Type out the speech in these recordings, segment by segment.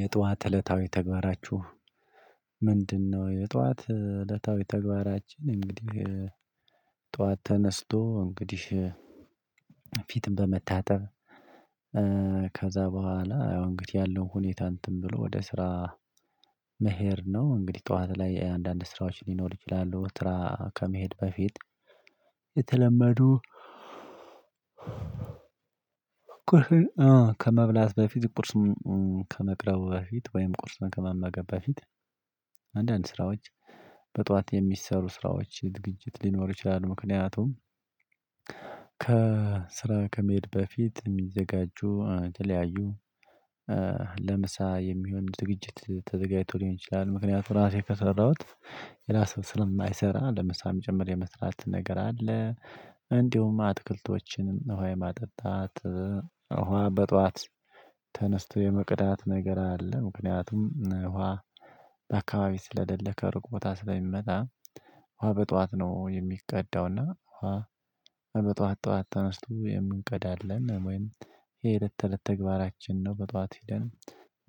የጧት እለታዊ ተግባራችሁ ምንድነው? የጧት እለታዊ ተግባራችን እንግዲህ ጠዋት ተነስቶ እንግዲህ ፊትም በመታጠብ ከዛ በኋላ አዎ እንግዲህ ያለው ሁኔታ እንትን ብሎ ወደ ስራ መሄድ ነው። እንግዲህ ጠዋት ላይ አንዳንድ ስራዎች ሊኖሩ ይችላሉ። ስራ ከመሄድ በፊት የተለመዱ ቁርስ ከመብላት በፊት ቁርስ ከመቅረቡ በፊት ወይም ቁርስ ከመመገብ በፊት አንዳንድ ስራዎች በጠዋት የሚሰሩ ስራዎች ዝግጅት ሊኖር ይችላል። ምክንያቱም ከስራ ከመሄድ በፊት የሚዘጋጁ ተለያዩ ለምሳ የሚሆን ዝግጅት ተዘጋጅቶ ሊሆን ይችላል። ምክንያቱም ራሴ ከሰራሁት ሌላ ሰው ስለማይሰራ ለምሳ ጭምር የመስራት ነገር አለ። እንዲሁም አትክልቶችን ውሃ የማጠጣት ውሃ በጧት ተነስቶ የመቅዳት ነገር አለ። ምክንያቱም ውሃ በአካባቢ ስለደለከ ከሩቅ ቦታ ስለሚመጣ ውሃ በጧት ነው የሚቀዳውና ውሃ በጧት ጠዋት ተነስቶ የምንቀዳድለን ወይም የእለትተለት ተግባራችን ነው። በጧት ሄደን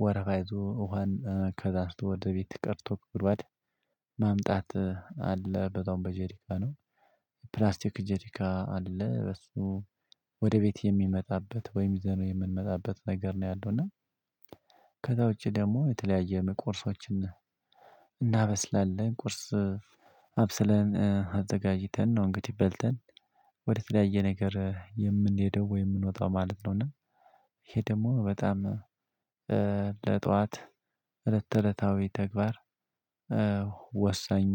ወረፋ ይዞ ወሃን ከዛ አንስቶ ወደ ቤት ቀድቶ ከጉድጓድ ማምጣት አለ። በዛውም በጀሪካ ነው ፕላስቲክ ጀሪካ አለ። በሱ ወደ ቤት የሚመጣበት ወይም ይዘን የምንመጣበት ነገር ነው ያለው እና ከዛ ውጪ ደሞ የተለያየ ቁርሶችን እናበስላለን ቁርስ አብስለን አዘጋጅተን ነው። እንግዲህ በልተን ወደ ተለያየ ነገር የምንሄደው ወይ የምንወጣው ማለት ነው። እና ይሄ ደግሞ በጣም ለጠዋት እለተለታዊ ተግባር ወሳኝ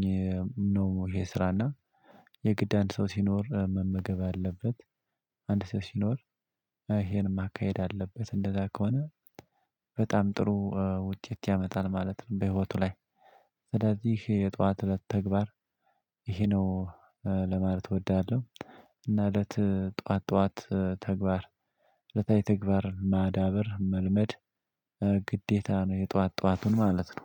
ነው። ይሄ ስራና የግድ አንድ ሰው ሲኖር መመገብ አለበት አንድ ሰው ሲኖር ይሄን ማካሄድ አለበት እንደዛ ከሆነ በጣም ጥሩ ውጤት ያመጣል ማለት ነው። በህይወቱ ላይ ስለዚህ የጧት እለት ተግባር ይሄ ነው ለማለት እወዳለሁ። እና እለት ጠዋት ጠዋት ተግባር እለታዊ ተግባር ማዳበር መልመድ ግዴታ ነው። የጧት ጧቱን ማለት ነው